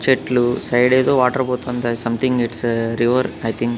చెట్లు సైడేదో వాటర్ పోతుంది guys something it's river I think .